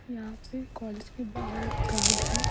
यहां पे कॉलेज के बाहर एक गार्ड है।